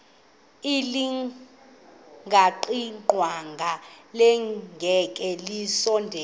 elingaqingqwanga nelinge kasondeli